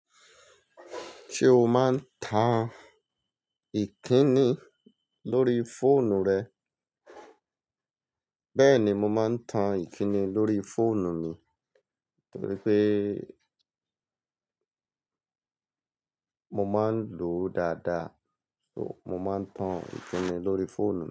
Ṣé o máa ń tan ìkíni lórí fóònù rẹ? Bẹ́ẹ̀ni, mo máa ń tan ìkíni lórí fóònù mi torí pé mo máa ń lò ó dáadáa. So, mo máa ń tan ìkíni lórí fóònù mi.